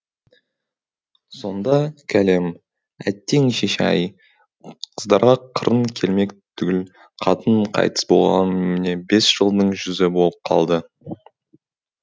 сонда кәлем әттең шеше ай қыздарға қырын келмек түгіл қатын қайтыс болғалы міне бес жылдың жүзі болып қалды